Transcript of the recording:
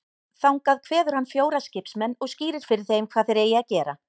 Þangað kveður hann fjóra skipsmenn og skýrir fyrir þeim hvað þeir eigi að gera.